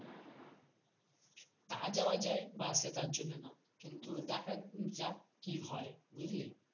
তা যাওয়া যায় bus এ তার জন্য না কিন্তু দেখা যাক কি হয় বুঝলি